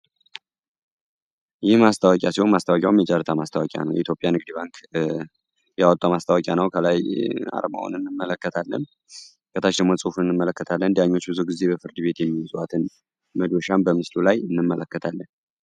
ይህ ማስታዋቂያ ሲሆን ማስታዋቂያውን የጃርታ ማስታዋቂያ ነው የኢቲዮጵያ ንግዲባንክ የዋጧ ማስታዋቂያ ነው። ከላይ አርማውን እንመለከታለን፤ ከታሽንሞ ጽሑፉን እንመለከታለ እዲያኞች ብዙ ጊዜህ በፍርድ ቤት የኙ ውዛዋትን ምዶሻን በምስሉ ላይ እንመለከታለን።